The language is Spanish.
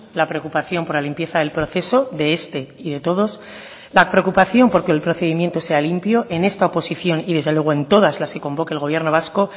la preocupación por la limpieza del proceso de este y de todos la preocupación porque el procedimiento sea limpio en esta oposición y desde luego en todas las que convoque el gobierno vasco